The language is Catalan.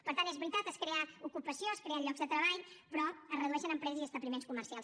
per tant és veritat es crea ocupació es creen llocs de treball però es redueixen empreses i establiments comercials